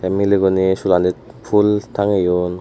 miley guney sulanit full tangiyon.